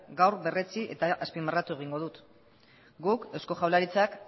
gaur berretsi eta azpimarratu egingo dut guk eusko jaurlaritzak